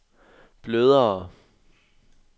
blødere